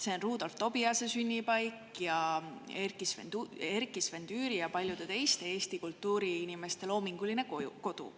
See on Rudolf Tobiase sünnipaik ning Erkki-Sven Tüüri ja paljude teiste Eesti kultuuriinimeste loominguline kodu.